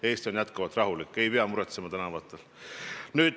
Eestis on jätkuvalt rahulik, ei pea tänavatel käies muretsema.